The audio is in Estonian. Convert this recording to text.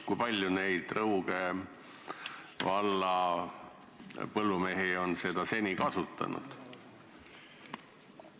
Kui paljud Rõuge valla põllumehed on seni seda lage kasutanud?